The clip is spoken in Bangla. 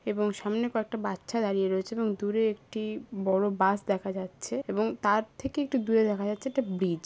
এবং সামনে কয়েকটা বাচ্চা দাঁড়িয়ে রয়েছে এবং দূরে একটি বড় বাস দেখা যাচ্ছে এবং তার থেকে একটু দূরে দেখা যাচ্ছে একটি ব্রিজ ।